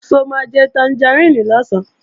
Ṣó máa jẹ tangaríìnì lọ̀sán?